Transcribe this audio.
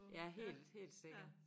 Ja helt helt sikkert